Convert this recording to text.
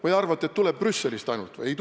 Kas arvate, et see tuleb Brüsselist ainult?